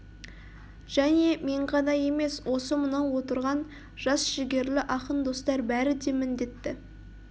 және мен ғана емес осы мынау отырған жас жігерлі ақын достар бәрі де міндетті